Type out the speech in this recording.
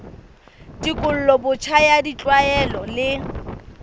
tekolo botjha ya ditlwaelo le